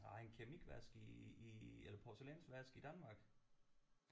Nej en keramikvask i i eller porcelænsvask i Danmark